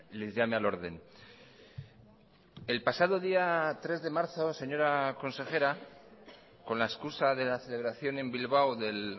les llame al orden el pasado día tres de marzo señora consejera con la excusa de la celebración en bilbao del